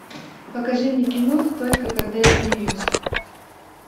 покажи мне кино только когда я смеюсь